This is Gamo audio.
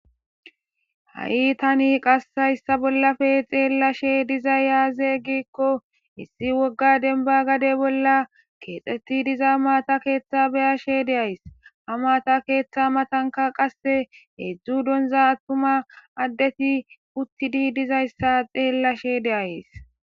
Ha7i tani qassayssa bollafe xeellashe diza yaaze gikko issi wogga denba gade bolla keexeti diza maata keeththa beyashe de ays ha maata keeththa matanka qasse heedzdzu donza attuma addeti uttidi dizayssa xeellashe deays